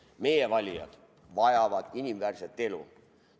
Meie valijad vajavad inimväärset elu.